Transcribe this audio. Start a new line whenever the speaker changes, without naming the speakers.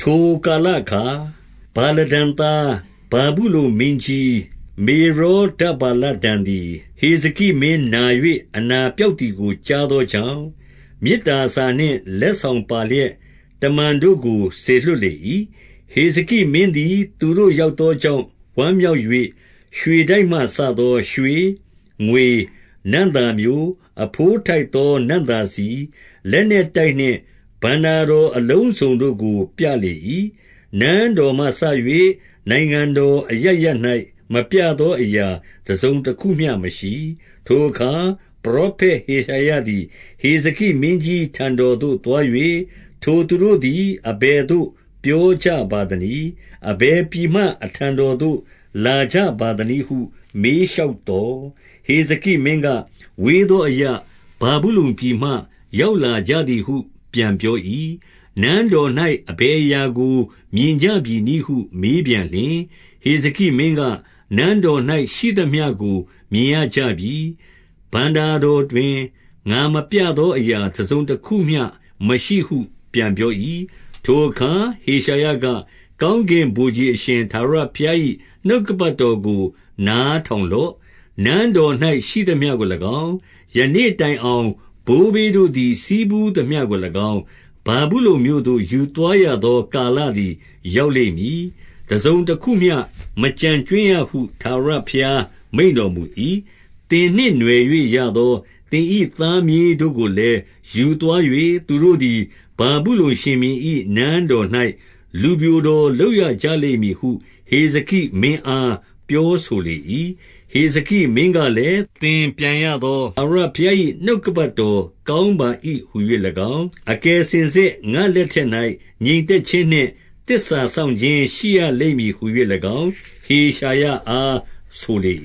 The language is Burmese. ထိုကာလအခါ ဗာလဒန်သား၊ ဗာဗုလုန်မင်းကြီး မေရောဒပ္ဗါလဒန်သည် ဟေဇကိမင်း နာ၍၊ အနာ ပျောက်သည်ကို ကြားသောကြောင့်၊ မေတ္တာစာနှင့် လက် ဆောင်ပါလျက်၊ တမန်တို့ကို စေလွှတ်လေ၏။ 2 ဟေဇကိမင်းသည် သူတို့ရောက်သောကြောင့် ဝမ်းမြောက်၍၊ ရွှေတိုက်မှစသော ရွှေတိုက်မှစသော ရွှေ၊ ငွေ၊ နံ့သာမျိုး၊ အဘိုးထိုက်သော နံ့သာဆီ၊ လက်နက် တိုက်နှင့် ဘဏ္ဍာတော်အလုံးစုံတို့ကို ပြလေ၏။ နန်းတော်မှစ၍ နိုင်ငံတော်အရပ်ရပ်၌ မပြသောအရာ တစုံတခုမျှ မရှိ။ 3 ထိုအခါ ပရောဖက် ဟေရှာယသည် ဟေဇကိ မင်းကြီးထံတော်သို့သွား၍၊ ထိုသူတို့သည် အဘယ်သို့ ပြောကြပါသနည်း။ အဘယ်ပြည်မှ အထံတော်သို့ လာကြပါသနည်းဟု မေးလျှောက်သော်၊ ဟေဇကိမင်းက၊ ဝေးသောအရပ်၊ ဗာဗုလုန်ပြည်မှ ရောက်လာကြသည်ဟု ပြန်ပြော၏။ 4 နန်းတော်၌ အဘယ်အရာကို မြင်ကြပြီနည်းဟု မေးပြန်လျှင်၊ ဟေဇကိမင်းက၊ နန်းတော်၌ ရှိသမျှကို မြင်ရကြပြီ။ ဘဏ္ဍာတော်တွင် ငါမပြသောအရာ တစုံတခု မျှ မရှိဟုပြန်ပြော၏။ 5 ထိုအခါ ဟေရှာယက၊ ကောင်းကင်ဗိုလ်ခြေ အရှင်ထာဝရဘုရား၏ နှုတ်ကပတ်တော်ကို နားထောင်လော့။ 6 နန်းတော်၌ ရှိသမျှကို၎င်း၊ ယနေ့တိုင်အောင် ဘိုးဘေးတို့သည် ဆည်းဖူးသမျှကို၎င်း၊ ဗာဗုလုန်မြို့သို့ ယူသွားရသော ကာလသည် ရောက်လိမ့်မည်။ တစုံတခုမျှ မကျန်ကြွင်းရဟု ထာဝရဘုရား မိန့်တော်မူ၏။ 7 သင်နှင့်နွှယ်၍ရသော သင်၏ သားမြေးတို့ကို လည်း ယူသွား၍၊ သူတို့သည် ဗာဗုလုန်ရှင်ဘုရင်၏ နန်းတော်၌၊ လူပျိုတော်လုပ်ရကြလိမ့်မည်ဟု ဟေဇကိ မင်းအား ပြောဆိုလေ၏။ 8 ဟေဇကိမင်းကလည်း၊ သင်ပြန်ရသော ထာဝရ ဘုရား၏ နှုတ်ကပတ်တော် ကောင်းပါ၏ဟူ၍၎င်း၊ အကယ်စင်စစ် ငါ့လက်ထက်၌ ငြိမ်သက်ခြင်းနှင့် သစ္စာ စောင့်ခြင်းရှိရလိမ့်မည် ဟူ၍၎င်း၊ ဟေရှာယအား ဆိုလေ